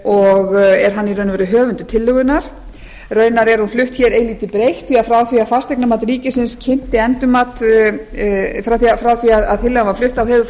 og er hann í raun og veru höfundur tillögunnar raunar er hún flutt eilítið breytt því frá því að fasteignamat ríkisins kynnti endurmat frá því að tillagan var flutt þá hefur